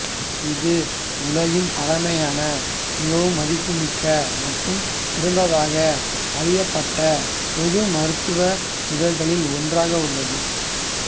இது உலகின் பழமையான மிகவும் மதிப்புமிக்க மற்றும் சிறந்ததாக அறியப்பட்ட பொது மருத்துவ இதழ்களில் ஒன்றாக உள்ளது